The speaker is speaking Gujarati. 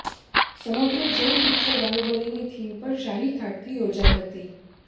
સમગ્ર જૈન દીક્ષા બાહુબલીની થીમ પર શાહીઠાઠથી યોજાઈ હતી